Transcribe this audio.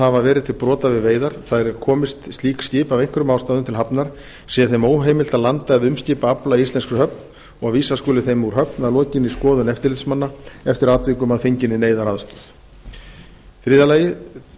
hafa verið til brota við veiðar það er komist slík skip af einhverjum ástæðum til hafnar sé þeim heimilt að landa eða umskipa afla í íslenskri höfn og vísa skuli þeim úr höfn að lokinni skoðun eftirlitsmanna eftir atvikum að fenginni neyðaraðstoð þriðja